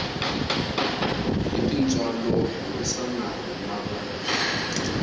hi tintswalo burisana ni va